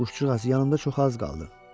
Quşcuğaz, yanımda çox az qaldı.